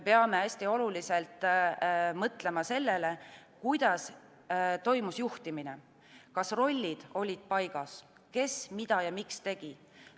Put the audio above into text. Kindlasti on hästi oluline mõelda sellele, kuidas toimus juhtimine – kas rollid olid paigas, kes, mida ja miks tegi.